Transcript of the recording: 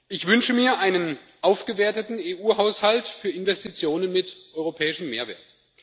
Ich wünsche mir einen aufgewerteten EU Haushalt für Investitionen mit europäischem Mehrwert.